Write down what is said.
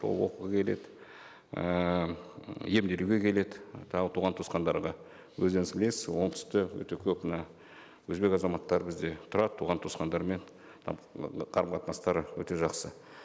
ол оқуға келеді ііі м емделуге келеді тағы туған туысқандарға өздеріңіз білесіз оңтүстікте өте көп мына өзбек азаматтары бізде тұрады туған туысқандарымен ы қарым қатынастары өте жақсы